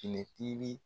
Finitigi